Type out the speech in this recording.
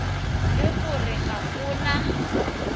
le gore ga go na